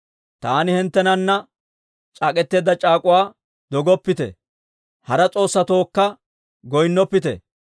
Taani hinttenana c'aak'k'eteedda c'aak'uwa dogoppite; hara s'oossatookka goynnoppite.